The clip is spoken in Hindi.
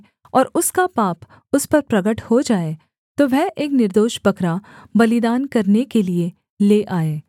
और उसका पाप उस पर प्रगट हो जाए तो वह एक निर्दोष बकरा बलिदान करने के लिये ले आए